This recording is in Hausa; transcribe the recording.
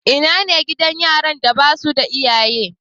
Ina ne gidan yaran da ba su da iyaye?